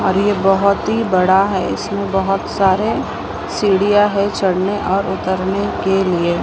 और ये बहोत ही बड़ा है इसमें बहोत सारे सीढ़ियां है चढ़ने और उतरने के लिए।